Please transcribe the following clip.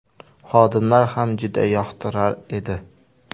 Xodimlar ham juda yoqtirar edi.